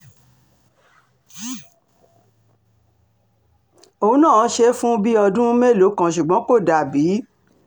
òun náà ṣe é fún bíi ọdún mélòó kan ṣùgbọ́n kò dà bíi